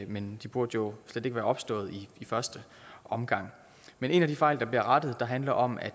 men de burde jo slet ikke være opstået i første omgang en af de fejl der bliver rettet handler om at